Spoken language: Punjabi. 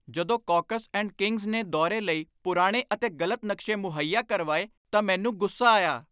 ਜਦੋਂ ਕੌਕਸ ਐਂਡ ਕਿੰਗਜ਼ ਨੇ ਦੌਰੇ ਲਈ ਪੁਰਾਣੇ ਅਤੇ ਗ਼ਲਤ ਨਕਸ਼ੇ ਮੁਹੱਈਆ ਕਰਵਾਏ ਤਾਂ ਮੈਨੂੰ ਗੁੱਸਾ ਆਇਆ।